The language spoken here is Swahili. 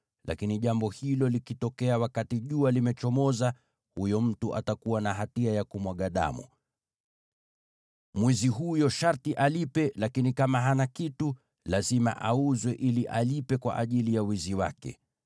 lakini jambo hilo likitokea wakati jua limechomoza, huyo mtu atakuwa na hatia ya kumwaga damu. “Mwizi huyo sharti alipe, lakini kama hana kitu, lazima auzwe ili alipe kwa ajili ya wizi wake.